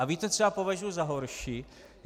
A víte, co já považuji za horší?